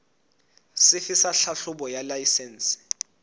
sefe sa tlhahlobo ya laesense